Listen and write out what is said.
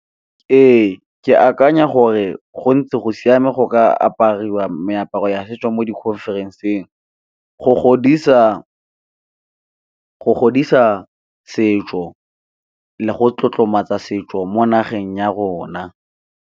Ee, ke akanya gore go ntse go siame go ka apariwa meaparo ya setso mo di-conference-ng, go godisa setso le go tlotlomatsa setso mo nageng ya rona.